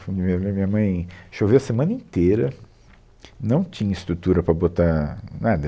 Foi meu, mi minha mãe, Choveu a semana inteira, não tinha estrutura para botar nada.